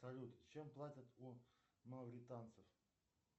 салют чем платят у мавританцев